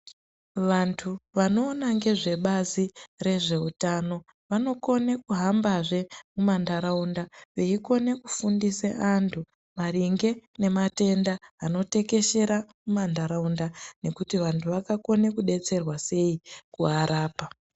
Vantu vanoona ngezve bazi rezve utano vanokone kuhambazve muma ntaraunda veikone kufundise antu maringe nematenda ano tekeshera muma ntaraunda, nekuti vantu vanokone kudetserwa sei kuarapa.